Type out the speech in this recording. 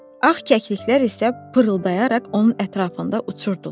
Ağ kəkliklər isə pırıldayaraq onun ətrafında uçurdular.